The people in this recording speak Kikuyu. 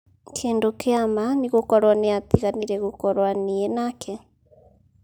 kĩndu kĩa ma nĩ gũkorwo nĩatiganire gukorwa niĩ nake